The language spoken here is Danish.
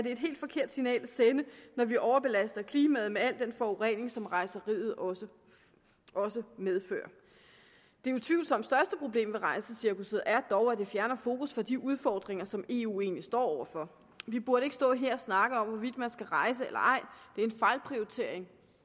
et helt forkert signal at sende når vi overbelaster klimaet med al den forurening som rejseriet også også medfører det utvivlsomt største problem med rejsecirkusset er dog at det fjerner fokus fra de udfordringer som eu egentlig står over for vi burde ikke stå her og snakke om hvorvidt man skal rejse eller ej det er en fejlprioritering